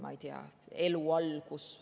Ma ei tea, elu algus …